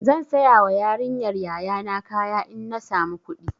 Zan sayawa yarinyar yaya na kaya in na samu kuɗi.